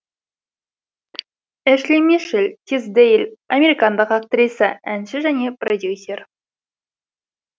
эшли мишель тисдейл американдық актриса әнші және продюсер